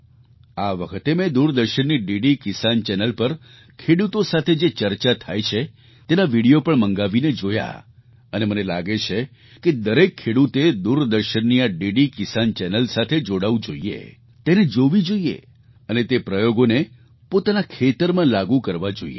આ વખતે મેં દૂરદર્શનની ડીડી કિસાન ચેનલ પર ખેડૂતો સાથે જે ચર્ચા થાય છે તેના વિડિયો પણ મંગાવીને જોયા અને મને લાગે છે કે દરેક ખેડૂતે દૂરદર્શનની આ ડીડી કિસાન ચેનલ સાથે જોડાવું જોઈએ તેને જોવી જોઈએ અને તે પ્રયોગોને પોતાના ખેતરમાં લાગુ કરવા જોઈએ